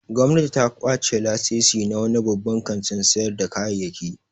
Gwamnati ta kwace lasisi na wani babban kantin sayar da kayayyki.